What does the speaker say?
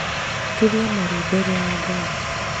Turia maru mbere ya Ngai